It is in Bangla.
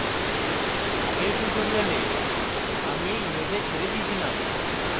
আগের tutorial আমি in image ছেড়ে ছিলাম